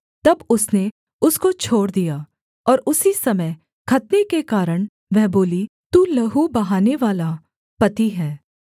तब उसने उसको छोड़ दिया और उसी समय खतने के कारण वह बोली तू लहू बहानेवाला पति है